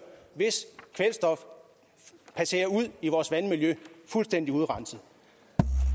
hvis kvælstof passerer ud i vores vandmiljø fuldstændig urenset